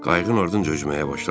Qayığın ardınca üzməyə başladım.